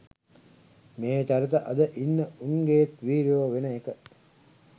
මේ චරිත අද ඉන්න උන්ගෙත් වීරයෝ වෙන එක.